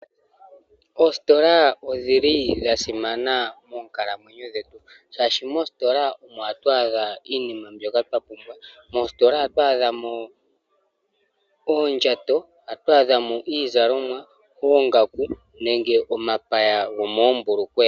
Oositola odhili dha simana moonkalamwenyo dhetu ,oshoka moositola omo hatu adha iinima mbyoka twa pumbwa. Moositola ohatu adhamo oondjato, ohatu adhamo iizalomwa ,oongaku nenge omapaya gomoombulukweya.